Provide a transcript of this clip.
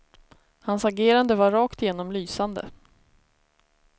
Hans agerande var rakt igenom lysande.